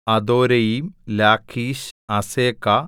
Adoraim Lachish Azekah